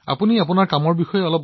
আপোনাৰ অভিজ্ঞতাৰ বিষয়ে কওক